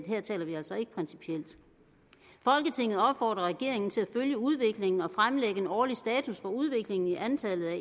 her taler vi altså ikke principielt folketinget opfordrer regeringen til at følge udviklingen og fremlægge en årlig status for udviklingen i antallet af